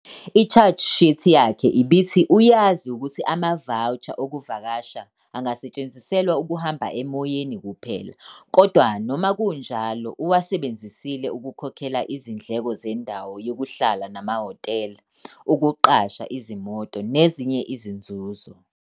I-charge sheet yakhe ibithi uyazi ukuthi ama-voucher okuvakasha angasetshenziselwa ukuhamba emoyeni kuphela kodwa noma kunjalo uwasebenzisela ukukhokhela izindleko zendawo yokuhlala amahhotela, ukuqasha izimoto nezinye izinzuzo.